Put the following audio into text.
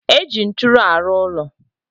Eji nturu alu ulo